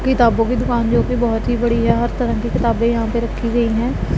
किताबों की दुकान जोकि बहोत ही बड़ी है और हर तरह की किताबें यहां पे रखी गई है।